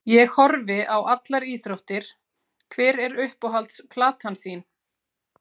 Ég horfi á allar íþróttir Hver er uppáhalds platan þín?